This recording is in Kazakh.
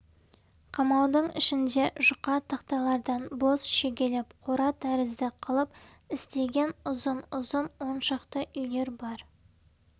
қамаудың ішінде жұқа тақтайлардан бос шегелеп қора тәрізді қылып істеген ұзын-ұзын он шақты үйлер бар